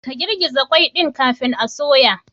Ka girgiza qwai ɗin kafin a soya.